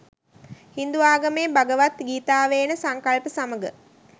හින්දු ආගමේ භගවත් ගීතාවේ එන සංකල්ප සමග